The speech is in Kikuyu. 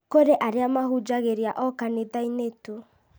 kũrĩ arĩa mahunjagĩria o kanithainĩ tu